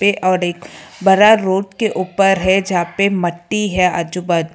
और एक बरा रोड के ऊपर है जहा पे मट्टी है आजू बाजू।